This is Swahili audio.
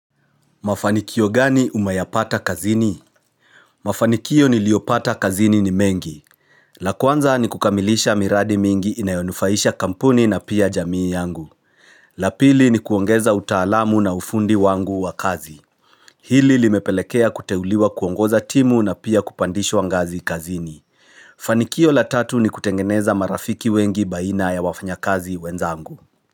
Mafanikio gani umeyapata kazini? Mafanikio niliyopata kazini ni mengi la kwanza ni kukamilisha miradi mingi inayonufaisha kampuni na pia jamii yangu la pili ni kuongeza utaalamu na ufundi wangu wa kazi Hili limepelekea kuteuliwa kuongoza timu na pia kupandishwa ngazi kazini Fanikio la tatu ni kutengeneza marafiki wengi baina ya wafanya kazi wenzangu.